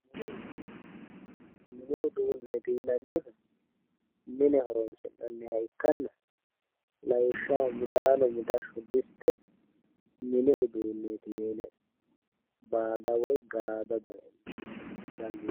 mini uduunneeti yinannihu mine horoo'nanniha ikkanna lawishshaho mixashsho midaano diste mini uduunneeti yine baada woy gaada dayee.